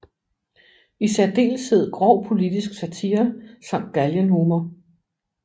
I særdeleshed grov politisk satire samt galgenhumor